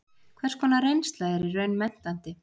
Hvers konar reynsla er í raun menntandi?